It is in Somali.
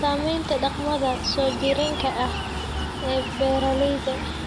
Saamaynta dhaqamada soo jireenka ah ee beeralayda.